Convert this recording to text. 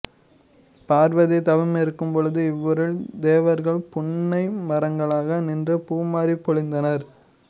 பார்வதி தவமிருக்கும் பொழுது இவ்வூரில் தேவர்கள் புன்னை மரங்களாக நின்று பூமாரிப் பொழிந்தனர்